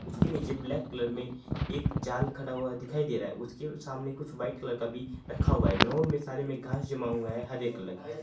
उसके नीचे black colour मे एक जाल खड़ा हुआ दिखाई दे रहा है उसके सामने कुछ व्हाइट कलर का भी रखा हुआ है ग्राउंड में सारे में घास जमा हुआ है हरे कलर का।